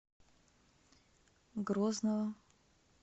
грозного